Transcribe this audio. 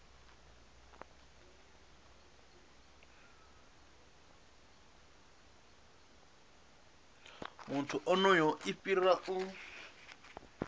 muthu onoyo i fhira u